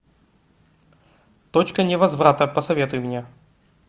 точка невозврата посоветуй мне